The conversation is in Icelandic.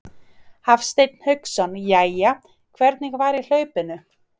Hafsteinn Hauksson: Jæja, hvernig var í hlaupinu?